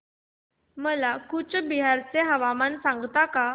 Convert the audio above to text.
मला कूचबिहार चे हवामान सांगता का